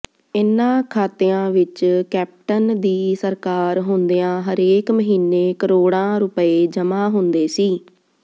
ਇਨ੍ਹਾਂ ਖਾਤਿਆਂ ਵਿੱਚ ਕੈਪਟਨ ਦੀ ਸਰਕਾਰ ਹੁੰਦਿਆਂ ਹਰੇਕ ਮਹੀਨੇ ਕਰੋੜਾਂ ਰੁਪਏ ਜਮ੍ਹਾਂ ਹੁੰਦੇ ਸੀ